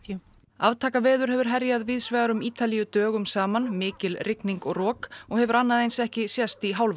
aftakaveður hefur herjað víðsvegar um Ítalíu dögum saman mikil rigning og rok og hefur annað eins ekki sést í hálfa